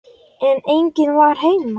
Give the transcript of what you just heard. En enginn var heima.